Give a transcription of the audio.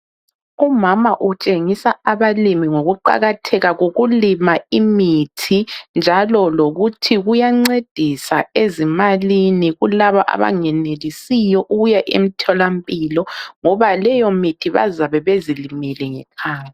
Umama utshengisa abalimi ngokuqakatheka kokulima imithi njalo lokuthi kuyancedisa ezimalini kulaba abangenelisiyo ukuya emtholampilo ngoba leyo mithi bazabe bezilimele ngekhaya.